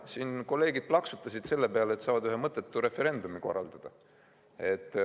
Siin kolleegid plaksutasid selle peale, et saavad ühe mõttetu referendumi korraldada.